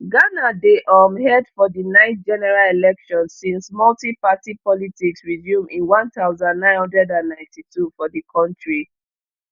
ghana dey um head for di ninth general election since multiparty politics resume in one thousand, nine hundred and ninety-two for di country